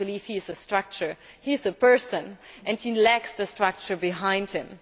I do not believe he is a structure, he is a person and he lacks the structure behind him.